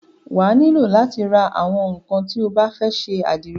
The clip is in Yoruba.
Wà á nílò látí ra àwọn ńnkan tí o bá fẹ́ ṣe àdìrẹ.